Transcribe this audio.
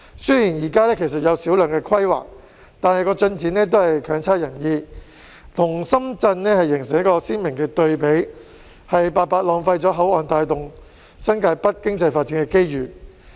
雖然現時有小量規劃，但進展未如人意，跟深圳形成鮮明對比，白白浪費了口岸帶動新界北經濟發展的機遇。